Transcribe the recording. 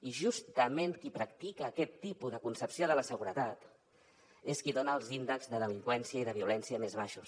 i justament qui practica aquest tipus de concepció de la seguretat és qui dona els índexs de delinqüència i de violència més baixos